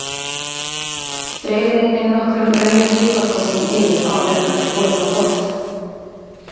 Dreifið einnig nokkrum rauðum piparkornum yfir áður en hann er borinn á borð.